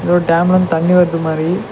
எதோரு டேமிலருந்து தண்ணி வர்து மாரி.